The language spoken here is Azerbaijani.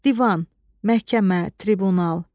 Divan, məhkəmə, tribunal.